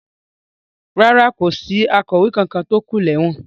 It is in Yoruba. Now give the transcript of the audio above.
Rárá, kò sí akọ̀wé kankan tó kú lẹ́wọ̀n.